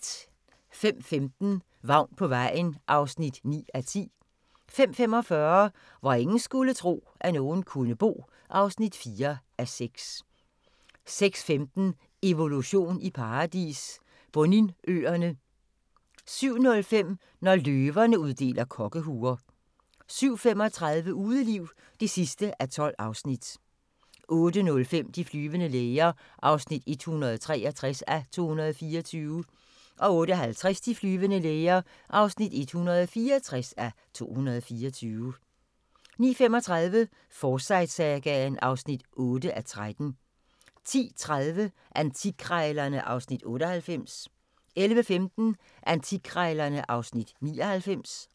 05:15: Vagn på vejen (9:10) 05:45: Hvor ingen skulle tro, at nogen kunne bo (4:6) 06:15: Evolution i paradis – Boninøerne 07:05: Når løverne uddeler kokkehuer 07:35: Udeliv (12:12) 08:05: De flyvende læger (163:224) 08:50: De flyvende læger (164:224) 09:35: Forsyte-sagaen (8:13) 10:30: Antikkrejlerne (Afs. 98) 11:15: Antikkrejlerne (Afs. 99)